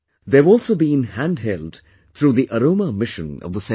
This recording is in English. They have also been handheld through the Aroma Mission of the Central Government